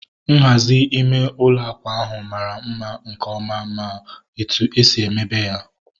Nhazi ime ụlọ akwa ahu mara mma nke ọma ma etu esi mebe ya